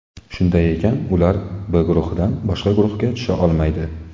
Shunday ekan, ular B guruhidan boshqa guruhga tusha olmaydi.